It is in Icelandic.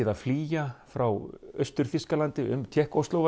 að flýja frá Austur Þýskalandi um Tékkóslóvakíu